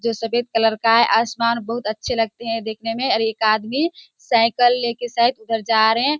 जो सफ़ेद कलर का हैं आसमान बहुत अच्छे लगते हैं देखने में अर एक आदमी सायकल लेके शायद उधर जा रहे हैं।